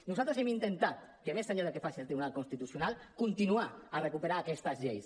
nosaltres hem intentat més enllà del que faci el tribunal constitucional continuar a recuperar aquestes lleis